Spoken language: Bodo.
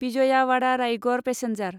विजयावादा रायगड़ पेसेन्जार